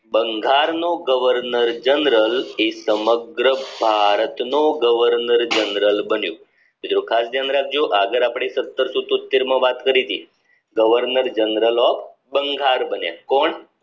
બંગાળનો governor general એ સમગ્ર ભારતનો governor general બન્યો તો ખાસ ધ્યાન રાખજો આગળ અપડે સતરસો તોત્તેર માં વાત કરી હતી governor general of બંગાળ બન્યા